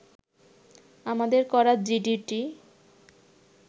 আমাদের করা জিডিটি